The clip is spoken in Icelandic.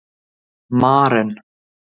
Maren